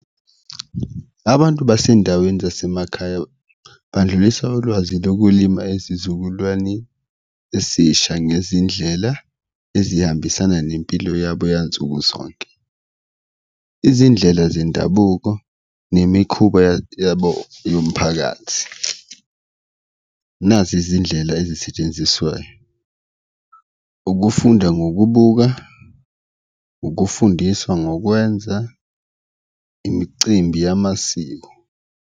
Abantu basendaweni zasemakhaya bandlulisa ulwazi lokulima ezizukulwane esisha ngezindlela ezihambisana nempilo yabo yansuku zonke, izindlela zendabuko nemikhuba yabo yomphakathi. Nazi izindlela ezisetshenziswayo, ukufunda ngokubuka, ukufundiswa ngokwenza, imicimbi yamasiko.